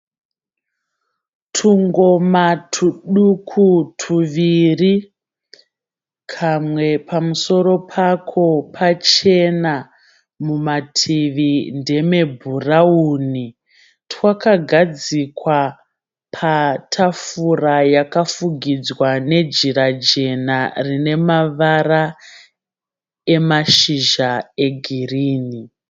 Tungoma tuduku tuviri, kamwe pamusoro pako pachena mumativi ndeme bhurawuni twakagadzikwa patafura yakafugidzwa nejira jena rinemavara emashizha egirini